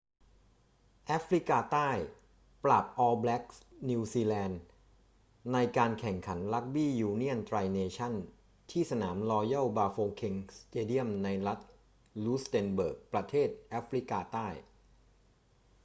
แอฟริกาใต้ปราบออลแบล็กส์ นิวซีแลนด์ ในการแข่งขันรักบี้ยูเนี่ยนไตรเนชั่นส์ที่สนามรอยัลบาโฟเค็งสเตเดียมในรูสเต็นเบิร์ก ประเทศแอฟริกาใต้